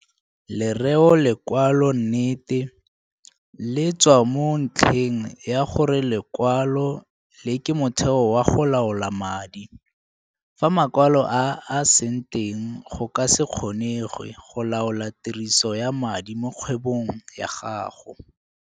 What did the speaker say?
Lereo lekwalonnete, le tswa mo ntlheng ya gore lekwalo le ke motheo wa go laola madi. Fa makwalo a a se teng go ka se kgonegwe go laola tiriso ya madi mo kgwebong ya gago.